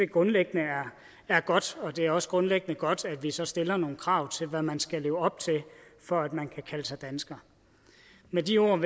grundlæggende er godt og det er også grundlæggende godt at vi så stiller nogle krav til hvad man skal leve op til for at man kan kalde sig dansker med de ord vil